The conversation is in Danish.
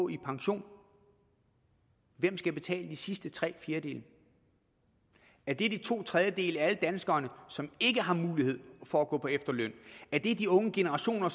i pension hvem skal betale de sidste tre fjerdedele er det de to tredjedele af alle danskere som ikke har mulighed for at gå på efterløn er det de unge generationer